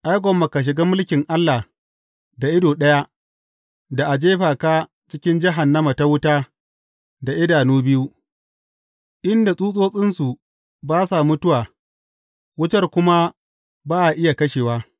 Ai, gwamma ka shiga mulkin Allah da ido ɗaya, da a jefa ka cikin jahannama ta wuta, da idanu biyu, inda tsutsotsinsu ba sa mutuwa, wutar kuma ba a iya kashewa.’